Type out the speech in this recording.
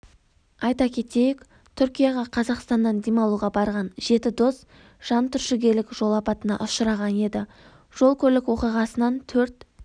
айта кетейік түркияға қазақстаннан демалуға барған жеті дос жантүршігерлік жол апатына ұшыраған еді жол-көлік оқиғасынан төрт